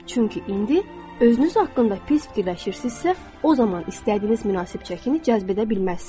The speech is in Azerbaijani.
Çünki indi özünüz haqqında pis fikirləşirsinizsə, o zaman istədiyiniz münasib çəkini cəzb edə bilməzsiniz.